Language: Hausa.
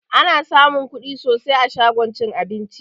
Ana samun kuɗi sosai a shagon cin abinci